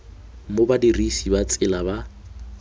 mo badirisi ba tsela ba